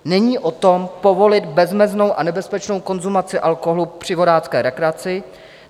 Není o tom, povolit bezmeznou a nebezpečnou konzumaci alkoholu při vodácké rekreaci.